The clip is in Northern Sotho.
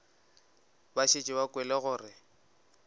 ba šetše ba kwele gore